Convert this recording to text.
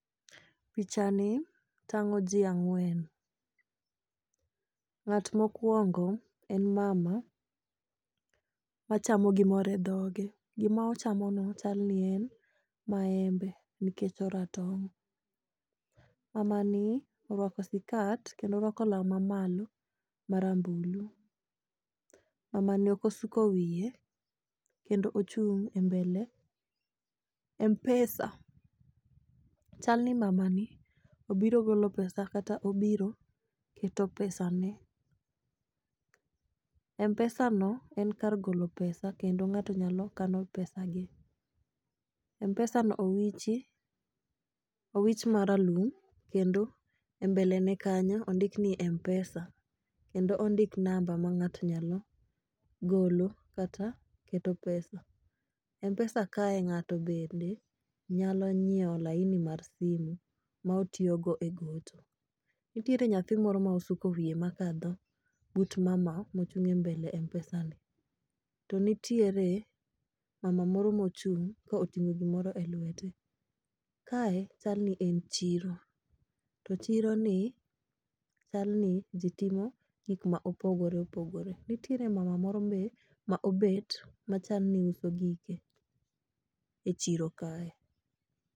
Picha ni tang'o jii ang'wen . Ng'at mokwongo en mama machamo gimoro e dhoge gimochamo no chal ni en maembe nikech oratong' . Mama ni orwako sikat kendo orwako law mamalo marambulu . Mamani ok osuko wiye kendo ochung' e mbele mpesa. Chal ni mama ni obiro golo pesa kata obiro keto pesa ne. Mpesa no en kar golo pesa kendo ngato nyalo kano pesa ge . mpesa no owichi owich maralum kendo e mbele ne kanyo ondik ni mpesa kendo ondik namba ma ng'ato nyalo golo kata keto pesa . Mpesa kae ng'ato bende nyalo nyiewo laini mar simo ma otiyo go e gocho nitiere nyathi moro ma osuko wiye makadho but mama ma ochung e mpesa ni to nitiere mama moro mochung' ma oting'o gimoro e lwete. Kae chal ni en chiro to chiro ni chal ni jii timo gik ma opogore opogore nitiere mama moro be ma obet ma chal ni uso gike e chiro kae.